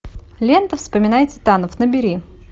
лента вспоминая титанов набери